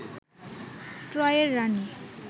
ট্রয়ের রানী